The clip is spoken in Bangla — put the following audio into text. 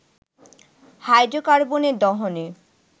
হাইড্রোকার্বনের দহনে